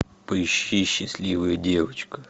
поищи счастливая девочка